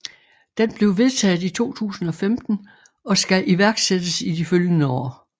Den blev vedtaget i 2015 og skal iværksættes i de følgende år